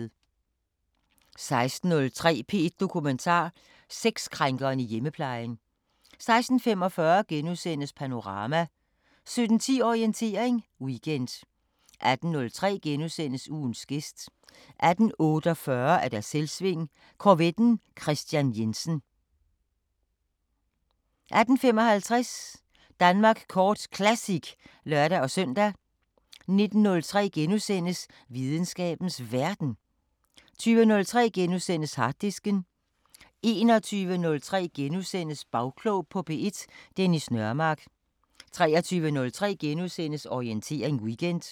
16:03: P1 Dokumentar: Sexkrænkeren i hjemmeplejen 16:45: Panorama * 17:10: Orientering Weekend 18:03: Ugens gæst * 18:48: Selvsving: Korvetten Kristian Jensen 18:55: Danmark Kort Classic (lør-søn) 19:03: Videnskabens Verden * 20:03: Harddisken * 21:03: Bagklog på P1: Dennis Nørmark * 23:03: Orientering Weekend *